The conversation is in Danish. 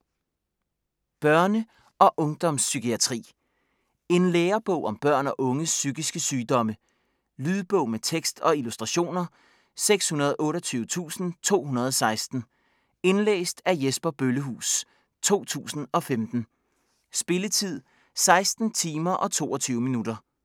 Børne- og ungdomspsykiatri En lærebog om børn og unges psykiske sygdomme. Lydbog med tekst og illustrationer 628216 Indlæst af Jesper Bøllehuus, 2015. Spilletid: 16 timer, 22 minutter.